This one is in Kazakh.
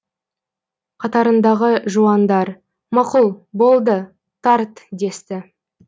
қатарындағы жуандар мақұл болды тарт десті